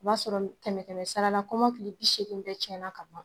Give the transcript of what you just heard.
O b'a sɔrɔ tɛmɛ kɛmɛ sarala kɔmɔkili bi segin bɛɛ cɛna ka ban